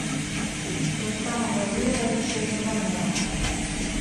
рустама владимировича иванова